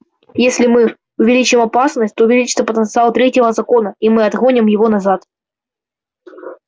если мы увеличим опасность то увеличится потенциал третьего закона и мы отгоним его назад